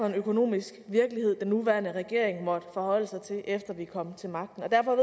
en økonomisk virkelighed den nuværende regering måtte forholde sig til efter vi kom til magten derfor